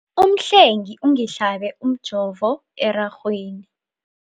Umhlengi ungihlabe umjovo erarhweni.